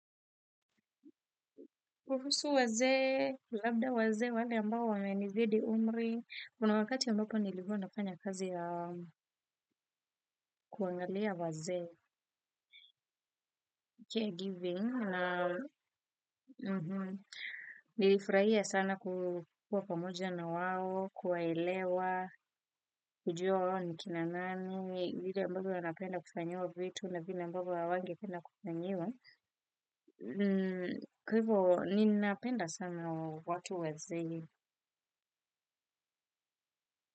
Kuhusu wazee, labda wazee wale ambao wamenizidi umri. Kuna wakati ambapo nilikuwa nafanya kazi ya kuangalia wazee, caregiving. Nilifurahia sana kukuwa pamoja na wao, kuwaelewa, kujua wao ni kina nani. Vile ambayo wanapenda kufanyiwa vitu na vile ambavyo hawangependa kufanyiwa. Kwa hivyo, ninapenda sana watu wazee.